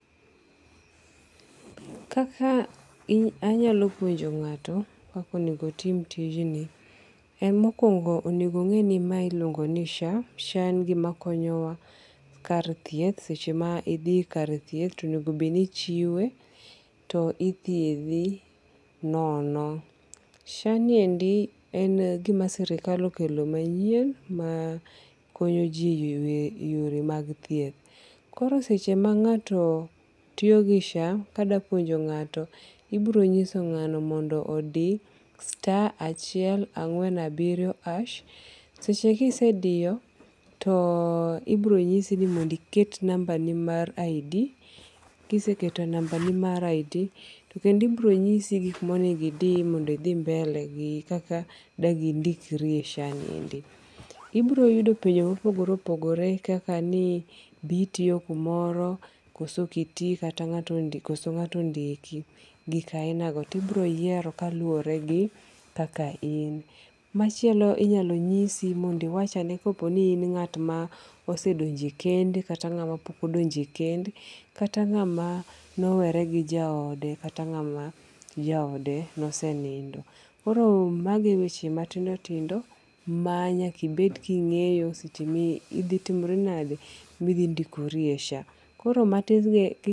Kaka I anyalo puonjo ngato kaka onego otim tijni , mokuongo' onego ongeni ni mae iluongo ni SHA, SHA en gimakonyowa kar thieth seche ma ithi kar thieth to enego bed ni ichiwe to ithiethi nono. SHA ni endi en gima sirikal okelo manyien ma konyo ji e yore mag thieth. Koro seche ma nga'to tiyo gi SHA kadapuonjo nga'to ibiro nyiso ngano mondo odi star acheil ang'wen abiriyo harsh seche kisediyo to ibironyisi ni mondo iket number ni mar Id kiseketo nambani mar Id to kendo ibironyisi gik ma onego di mondo ithi mbele gi kaka dangi'ndikri SHA niendi. Ibiro yudo penjo ma opogore opogore kaka ni bi itiyo kumoro koso okoti kata nga'to ondiki gik ainago to ibiro yiero kaluwore gi kaka in, machielo inyalo nyisi mondo iwachane ka oponi in nga'ma osedonje kend kata nga'ma pok ondonje kend kata ngama ne owere gi jaode kata nga'ma jaode nosenindo koro magie weche matindo tindo manyaka ibed ka ingeyo seche ma idhi timri nade, mi idhindikori e SHA. Koro matis gi eki.